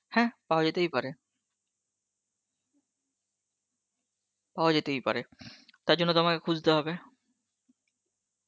হ্যাঁ পাওয়া যেতেই পারে, পাওয়া যেতেই পারে তার জন্য তোমাকে খুজতে হবে